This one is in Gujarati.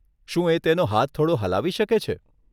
શું એ તેનો હાથ થોડો હલાવી શકે છે?